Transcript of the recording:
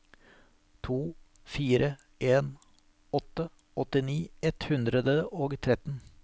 to fire en åtte åttini ett hundre og tretten